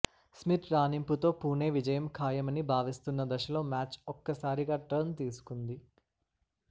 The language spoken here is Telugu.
స్మిత్ రాణింపుతో పుణె విజయం ఖాయమని భావిస్తున్న దశలో మ్యాచ్ ఒక్కసారిగా టర్న్ తీసుకుంది